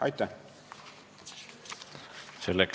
Aitäh!